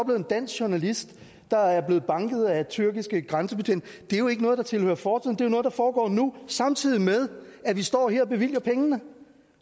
en dansk journalist der er blevet banket af tyrkiske grænsebetjente er jo ikke noget der tilhører fortiden det er jo noget der foregår nu samtidig med at vi står her og bevilger pengene